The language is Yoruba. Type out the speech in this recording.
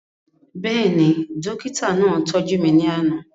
Bẹ́ẹ̀ni, dókítà náà tọ́jú mi ní àná